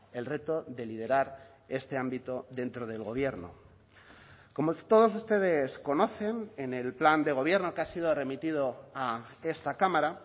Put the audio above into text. el reto de liderar este ámbito dentro del gobierno como todos ustedes conocen en el plan de gobierno que ha sido remitido a esta cámara